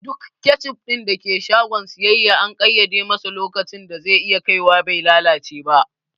Duk kecup ɗin da ke shagon siyayya an ƙaiyade masa lokacin da ze iya kaiwa be lalace ba